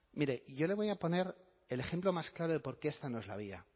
mire yo le voy a poner el ejemplo más claro de por qué esta no es la vía